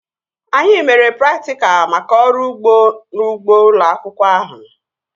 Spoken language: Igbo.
Anyị mere praktikal maka ọrụ ugbo n'ugbo ụlọ akwụkwọ ahụ